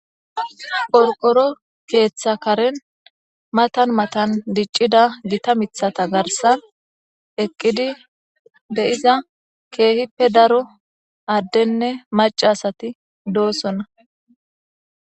qorqoro keeththa karen matan matan diccida gita mithata garsan eqqidi beyiza keehippe daro addenne macasati doosonna